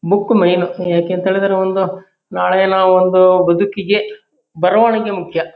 Book men ಯಾಕೆ ಅಂತ ಹೇಳಿದ್ರೆ ಒಂದು ನಾಳೆ ನಾವು ಒಂದು ಬದುಕಿಗೆ ಬರವಣಿಗೆ ಮುಖ್ಯ.